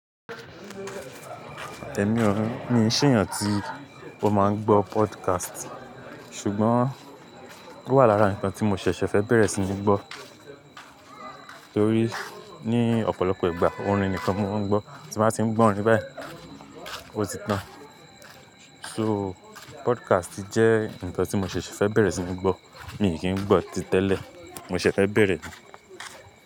Mi ṣe yen tí ó máa ń gbọ́ podcast. Ṣùgbọ́n, owà lára nǹkan tí mo ṣẹ̀ṣẹ̀ fẹ́ bẹ̀rẹ̀ sí ní gbọ́, torí ní ọ̀pọ̀lọpọ̀ ìgbà orin nìkan mo ń gbọ́, tí máa ti ń gbọ́ orin báyìí, ó ti tán. So, podcast jẹ́ nǹkan tí mo ṣẹ̀ṣẹ̀ fẹ́ bẹ̀rẹ̀ sí ní gbọ́. Mí kii ń gbọ́ ó tẹ́lẹ̀, mo sese fẹ́ bẹ̀rẹ̀ ni.